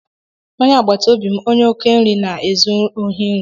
Onye agbata obi m onye oke nri na-ezu ohi nri.